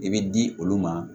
I bɛ di olu ma